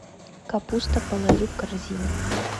капуста положи в корзину